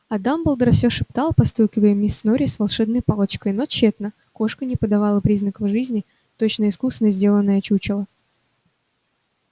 а дамблдор всё шептал постукивая миссис норрис волшебной палочкой но тщетно кошка не подавала признаков жизни точно искусно сделанное чучело